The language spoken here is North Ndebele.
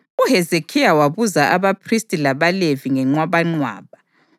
UHezekhiya wabuza abaphristi labaLevi ngenqwabanqwaba;